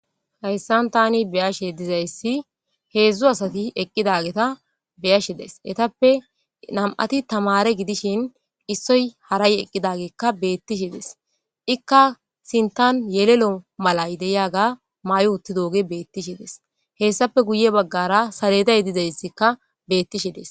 hayssan tani beyashe dizayssi heedzdzu asati eqqidageta beyashe des etappe nam7ati tamare gidishin issoy haray eqqidageekka beettishi dees ikka sintan yelelo malay de'iyaga maayi uttidooge beettishi dees hessape guye baggara saleday dizayssikka beettishe dees